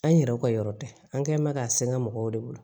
An yɛrɛw ka yɔrɔ tɛ an kɛ mɛ k'a sega mɔgɔw de bolo